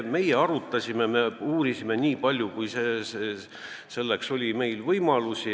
Me arutasime asja, me uurisime, nii palju kui meil võimalusi oli.